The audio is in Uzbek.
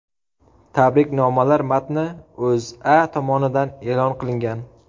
Tabriknomalar matni O‘zA tomonidan e’lon qilingan .